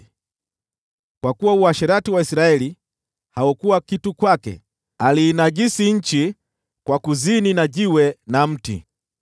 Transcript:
Kwa sababu uasherati wa Israeli haukuwa kitu kwake, Yuda aliinajisi nchi kwa kuzini na mawe na miti.